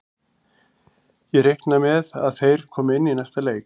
Ég reikna með að þeir komi inn í næsta leik.